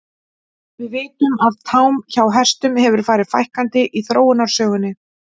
Við vitum að tám hjá hestum hefur farið fækkandi í þróunarsögunni.